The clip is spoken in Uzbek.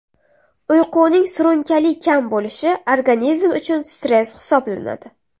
Uyquning surunkali kam bo‘lishi organizm uchun stress hisoblanadi.